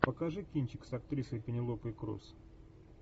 покажи кинчик с актрисой пенелопой круз